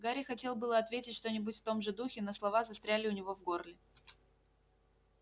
гарри хотел было ответить что-нибудь в том же духе но слова застряли у него в горле